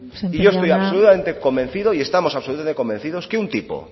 sémper jauna y yo estoy convencido y estamos absolutamente convencidos que un tipo